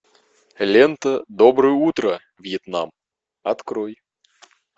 лента доброе утро вьетнам открой